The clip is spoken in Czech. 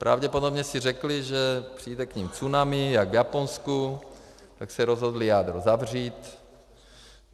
Pravděpodobně si řekli, že přijde k nim tsunami jak v Japonsku, tak se rozhodli jádro zavřít.